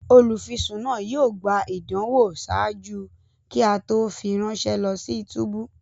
Olufisun naa yóò gbà ìdánwò ṣáájú kí a to fi ránṣẹ lọ si túbú